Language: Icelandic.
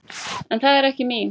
En það er ekki mín.